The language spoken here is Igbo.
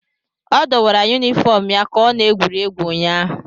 Ọ dọwara yunifọm ya ka ọ na-egwuri egwu ụnyaahụ.